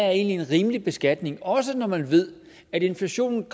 er en rimelig beskatning også når man ved at inflationen